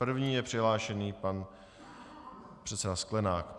První je přihlášený pan předseda Sklenák.